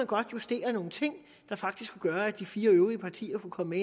kunne justere nogle ting der faktisk kunne gøre at de fire øvrige partier kunne komme